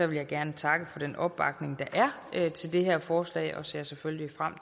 vil jeg gerne takke for den opbakning der er til det her forslag og jeg ser selvfølgelig frem